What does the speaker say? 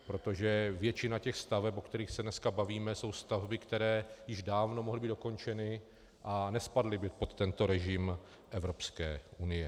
Protože většina těch staveb, o kterých se dnes bavíme, jsou stavby, které již dávno mohly být dokončeny a nespadly by pod tento režim Evropské unie.